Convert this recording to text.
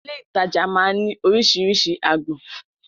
Ilé-ìtajà máa ń ní oríṣiríṣi agbọn